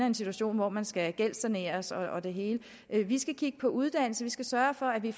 en situation hvor man skal gældssaneres og det hele vi skal kigge på uddannelse vi skal sørge for at vi